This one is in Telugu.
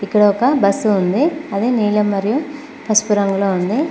ఇక్కడ ఒక బస్సు ఉంది అది నీలం మరియు పసుపు రంగులో ఉంది.